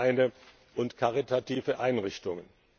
Sportvereine und karitative Einrichtungen.